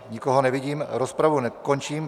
Nikoho nevidím, rozpravu končím.